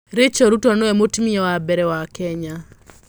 Rachael Ruto nĩwe Mũtumia wa Mbere wa Kenya.